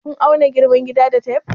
Kun auna girman gidan da tef?